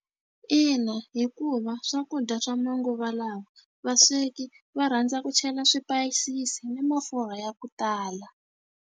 Ina, hikuva swakudya swa manguva lawa, vasweki va rhandza ku chela swipayisisi ni mafurha ya ku tala.